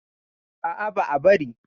A'a, ba'a bari.